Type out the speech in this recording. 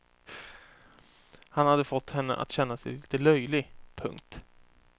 Han hade fått henne att känna sig lite löjlig. punkt